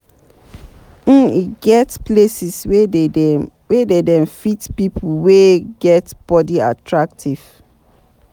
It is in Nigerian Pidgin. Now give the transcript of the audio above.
um E get places wey dey dem find pipo wey get body attractive